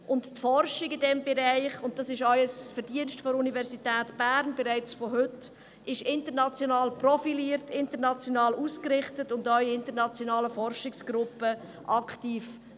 Die Forschung in diesem Bereich – dies ist auch schon heute ein Verdienst der Universität Bern – ist international profiliert, international ausgerichtet und in internationalen Forschungsgruppen aktiv.